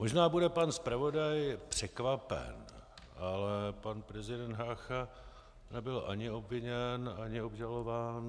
Možná bude pan zpravodaj překvapen, ale pan prezident Hácha nebyl ani obviněn ani obžalován.